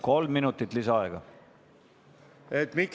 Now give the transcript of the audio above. Kolm minutit lisaaega!